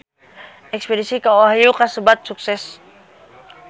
Espedisi ka Ohio kasebat sukses